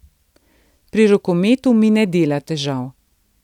Pri rokometu mi ne dela težav.